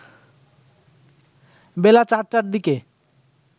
বেলা ৪টার দিকে